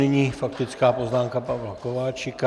Nyní faktická poznámka Pavla Kováčika.